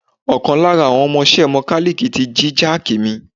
Ọ̀kan lára àwọn ọmọ iṣẹ́ Mọkálíìkí tí jí jáàki mi.